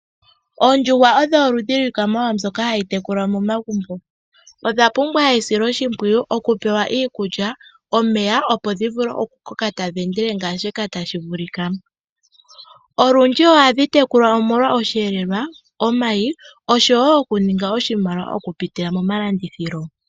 Oondjuhwa odho oludhi lwiikwamawawa mbyoka hayi tekulwa momagumbo. Odha pumbwa esiloshimpwiyu. Oku pewa iikulya nomeya opo dhi vule oku koka tadhi endelele ngaashi tashivulika. Olundji ohadhi tekulwa molwa osheelelwa, omayi, osho woo okuninga oshimaliwa oku pitila momalandithilo.